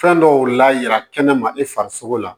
Fɛn dɔw la yɛrɛ kɛnɛma i farisogo la